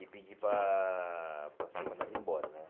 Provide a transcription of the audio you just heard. E pedi para para ser mandado embora, né?